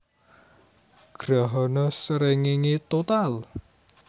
Grahana srengéngé total